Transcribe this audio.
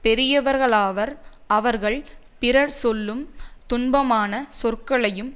பெரியவர்கள் அவார் அவர்கள் பிறர் சொல்லும் துன்பமான சொற்களையும்